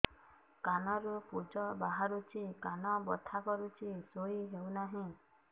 କାନ ରୁ ପୂଜ ବାହାରୁଛି କାନ ବଥା କରୁଛି ଶୋଇ ହେଉନାହିଁ